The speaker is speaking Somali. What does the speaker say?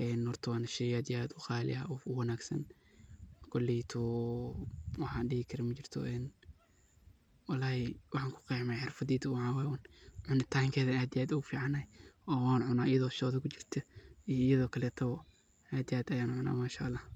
een waa sheey qali ah oo aad iyo aad u wanagsan ,koleyto waxan dihi karo majirto oo waxan ku qexayo khibradeyda uun lee waye ,cunitan keda aad iyo aad ayuu u fican yahay oo wan cuna iyadoo shodaa kujirta oo iaydo kale taboo aad iyo aad ayan u cuna Mashaa Allah.